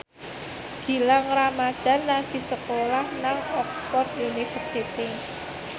Gilang Ramadan lagi sekolah nang Oxford university